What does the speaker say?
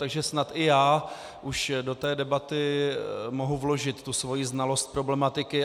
Takže snad i já už do té debaty mohu vložit tu svoji znalost problematiky.